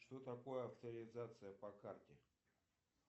что такое авторизация по карте